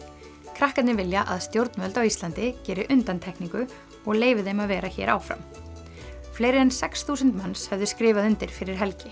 krakkarnir vilja að stjórnvöld á Íslandi geri undantekningu og leyfi þeim að vera áfram fleiri en sex þúsund manns höfðu skrifað undir fyrir helgi